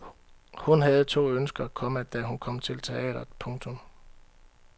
Hun havde to ønsker, komma da hun kom til teatret. punktum